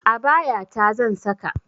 Abaya ta zan saka